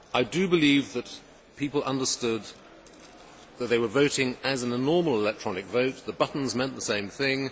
I do believe that people understood that they were voting as in a normal electronic vote the buttons meant the same thing